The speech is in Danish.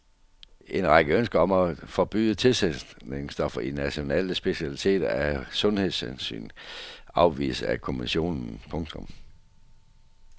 En række ønsker om at forbyde tilsætningsstoffer i nationale specialiteter af sundhedshensyn afvises af kommissionen. punktum